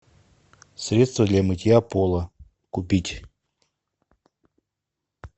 средство для мытья пола купить